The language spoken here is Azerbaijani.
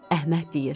Əhməd deyir: